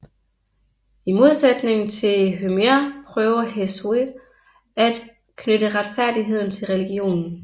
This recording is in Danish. I modsætning til Homer prøver Hesiod at knytte retfærdighed til religionen